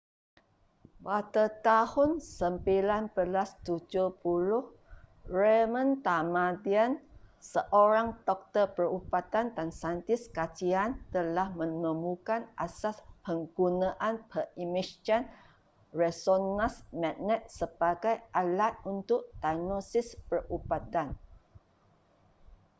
pada tahun 1970 raymond damadian seorang doktor perubatan dan saintis kajian telah menemukan asas penggunaan pengimejan resonans magnet sebagai alat untuk diagnosis perubatan